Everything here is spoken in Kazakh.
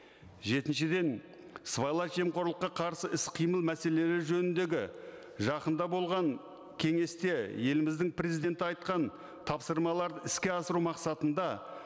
жетіншіден сыбайлас жемқорлыққа қарсы іс қимыл мәселелері жөніндегі жақында болған кеңесте еліміздің президенті айтқан тапсырмаларды іске асыру мақсатында